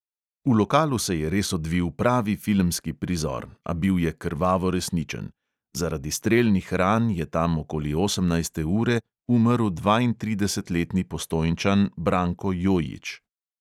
V lokalu se je res odvil pravi filmski prizor, a bil je krvavo resničen: zaradi strelnih ran je tam okoli osemnajste ure umrl dvaintridesetletni postojnčan branko jojič.